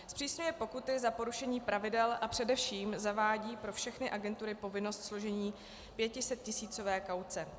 Zpřísňuje pokuty za porušení pravidel a především zavádí pro všechny agentury povinnost složení pětisettisícové kauce.